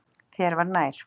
Þér var nær.